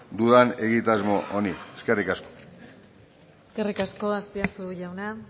dudan egitasmo honi eskerrik asko eskerrik asko azpiazu jauna